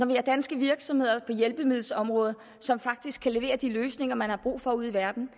vi har danske virksomheder inden for hjælpemiddelområdet som faktisk kan levere de løsninger man har brug for ude i verden